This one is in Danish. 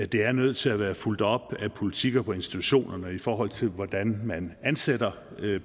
det er nødt til at være fulgt op af politikker på institutionerne i forhold til hvordan man ansætter